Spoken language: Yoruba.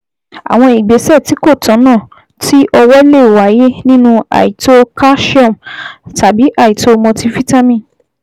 Àwọn ìgbésẹ̀ tí kò tọ̀nà ti ọwọ́ lè wáyé nínú àìtó calsium tàbí àìtó multivitamin